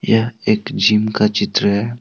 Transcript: यह एक जिम का चित्र है।